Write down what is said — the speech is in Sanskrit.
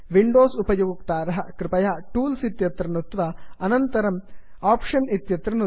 विंडोस् उपयोक्ताराः कृपया टूल्स् टूल्स् इत्यत्र नुत्त्वा अनन्तरं आप्शन्स् आप्षन् इत्यत्र नुदन्तु